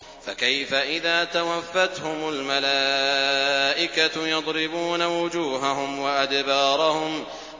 فَكَيْفَ إِذَا تَوَفَّتْهُمُ الْمَلَائِكَةُ يَضْرِبُونَ وُجُوهَهُمْ وَأَدْبَارَهُمْ